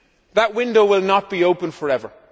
That window will not be open forever.